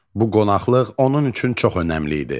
Bu qonaqlıq onun üçün çox önəmli idi.